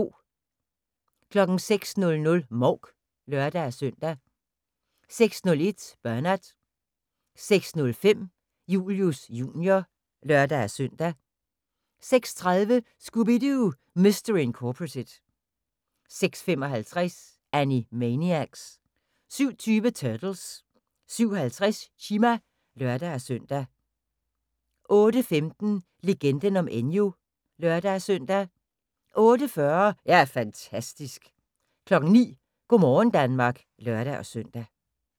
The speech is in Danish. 06:00: Mouk (lør-søn) 06:01: Bernard 06:05: Julius Jr. (lør-søn) 06:30: Scooby-Doo! Mystery Incorporated 06:55: Animaniacs 07:20: Turtles 07:50: Chima (lør-søn) 08:15: Legenden om Enyo (lør-søn) 08:40: Jeg er fantastisk 09:00: Go' morgen Danmark (lør-søn)